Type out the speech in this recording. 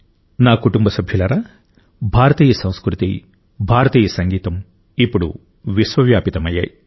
నా కుటుంబ సభ్యులారా భారతీయ సంస్కృతి భారతీయ సంగీతం ఇప్పుడు విశ్వవ్యాపితమయ్యాయి